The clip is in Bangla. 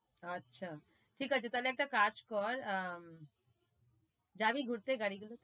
আচ্ছা, ঠিক আছে তাহলে একটা কাজ কর, আহ জাবি ঘুরতে গাড়ি গুলো,